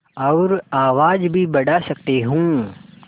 और आवाज़ भी बढ़ा सकती हूँ